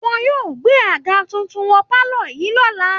Wọ́n yóò gbé àga tuntun wọ pálọ̀ yìí lọ́la